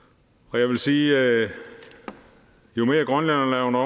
jeg vil sige at jo mere grønlænderne